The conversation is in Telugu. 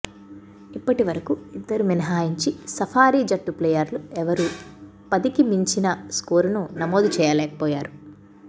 ఇప్పటివరకు ఇద్దరు మినహాయించి సఫారీ జట్టు ప్లేయర్లు ఎవ్వరూ పదికి మించిన స్కోరును నమోదు చేయలేకపోయారు